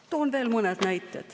Toon veel mõne näite.